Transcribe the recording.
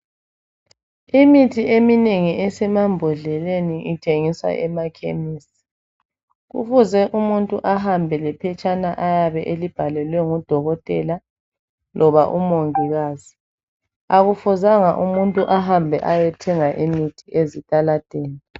Imithi eminengi esemambodleleni ithengiswa emakhemisi, kufuze umuntu ahambe lephetshana ayabe elibhalelwe ngudokotela loba umongikazi, akufuzanga umuntu ahambe ayethenga imithi ezitaladeni.